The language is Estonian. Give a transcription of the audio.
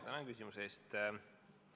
Tänan küsimuse eest!